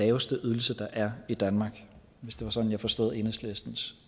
laveste ydelse der er i danmark hvis det var sådan jeg forstod enhedslistens